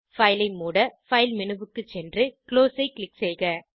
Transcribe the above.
file ஐ மூட file menu க்கு சென்று குளோஸ் ஐ க்ளிக் செய்க